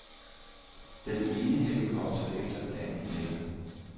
Den ene helikopter efter den anden letter.